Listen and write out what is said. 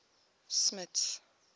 smuts